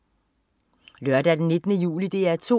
Lørdag den 19. juli - DR 2: